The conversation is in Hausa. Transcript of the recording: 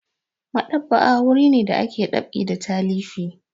Maɗ'aba'a wuri ne da ake ɗab'i da talifi.